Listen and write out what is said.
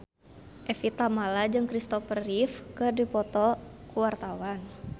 Evie Tamala jeung Christopher Reeve keur dipoto ku wartawan